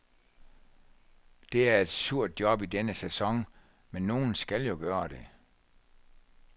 Det er et surt job i denne sæson, men nogen skal jo gøre det.